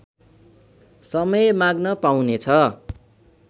समय माग्न पाउनेछ